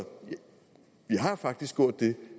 vi har faktisk gjort det